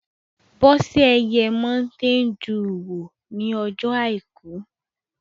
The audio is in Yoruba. Bọ́sẹ̀ yẹ Mọ́nté duù wò ní ọjọ́ àìkú